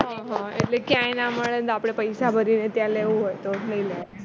હ હ એટલે ક્યાંય ના મળે તો આપણે પૈસા ભરી ને ત્યાં લેવું હોય તો